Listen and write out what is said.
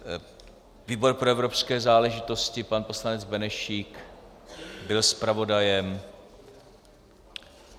Výbor pro evropské záležitosti - pan poslanec Benešík byl zpravodajem.